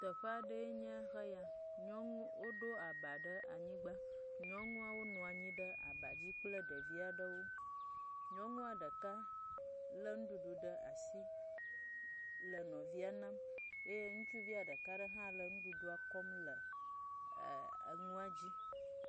Teƒe aɖee nye heya. Nyɔnuwo ɖo aba ɖe anyigba. Nyɔnuawo nɔ anyi ɖe abadzi kple ɖevia ɖewo. Nyɔnua ɖeka lé nuɖuɖu ɖe asi le nɔvia nam eye ŋutsuvia ɖekaa ɖe hã le nuɖuɖua kɔm le ɛɛ enua dzi.